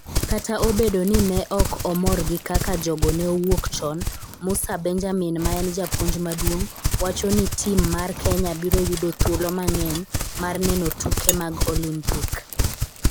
Kata obedo ni ne ok omor gi kaka jogo ne owuok chon, Musa Benjamin ma en japuonj maduong' wacho ni tim mar Kenya biro yudo thuolo mang'eny mar neno tuke mag Olimpik.